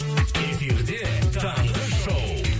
эфирде таңғы шоу